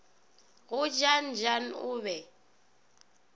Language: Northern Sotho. go jan jan o be